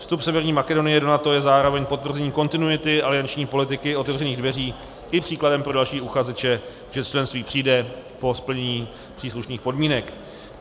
Vstup Severní Makedonie do NATO je zároveň potvrzením kontinuity alianční politiky otevřených dveří i příkladem pro další uchazeče, že členství přijde po splnění příslušných podmínek.